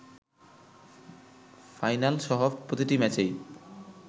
ফাইনালসহ প্রতিটি ম্যাচেই